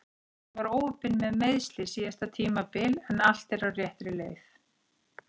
Hann var óheppinn með meiðsli síðasta tímabil en allt er á réttri leið.